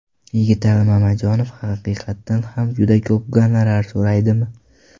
Yigitali Mamajonov haqiqatan ham juda ko‘p gonorar so‘raydimi?